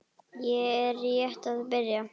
Ég er rétt að byrja!